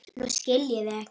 Nú skil ég þig ekki.